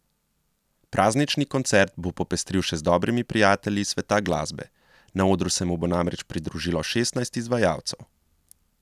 Praznični koncert bo popestril še z dobrimi prijatelji iz sveta glasbe, na odru se mu bo namreč pridružilo šestnajst izvajalcev.